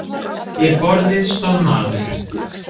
Við borðið stóð maður.